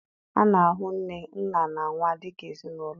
A na-ahụ nne, nna, na nwa dị ka ezinụlọ